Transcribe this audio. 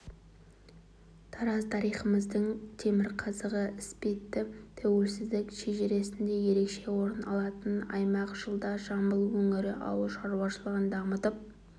тараз тарихымыздың темірқазығы іспетті тәуелсіздік шежіресінде ерекше орын алатын аймақ жылда жамбыл өңірі ауыл шаруашылығын дамытып